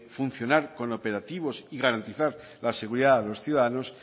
funcionar con operativos y garantizar la seguridad a los ciudadanos